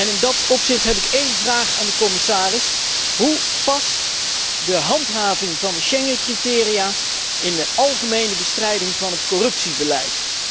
In dat opzicht heb ik één vraag aan de commissaris hoe past de handhaving van de Schengencriteria in de algemene bestrijding van het corruptiebeleid?